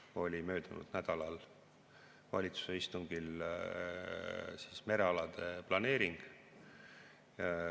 Viimane oli möödunud nädalal valitsuse istungil merealade planeering.